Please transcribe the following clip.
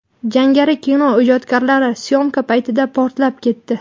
Jangari kino ijodkorlari syomka paytida portlab ketdi.